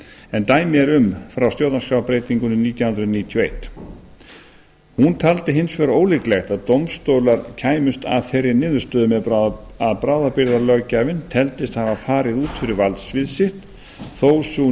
en dæmi eru um frá stjórnarskrárbreytingunni nítján hundruð níutíu og eitt hún taldi hins vegar ólíklegt að dómstólar kæmust að þeirri niðurstöðu að bráðabirgðalöggjafinn teldist hafa farið út fyrir valdsvið sitt þó að sú